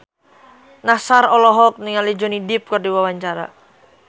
Nassar olohok ningali Johnny Depp keur diwawancara